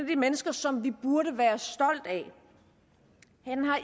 de mennesker som vi burde være stolt af